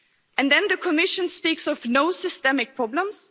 And then the Commission speaks of no systemic problems?